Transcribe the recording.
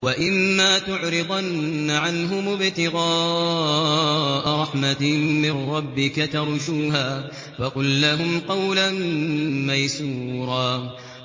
وَإِمَّا تُعْرِضَنَّ عَنْهُمُ ابْتِغَاءَ رَحْمَةٍ مِّن رَّبِّكَ تَرْجُوهَا فَقُل لَّهُمْ قَوْلًا مَّيْسُورًا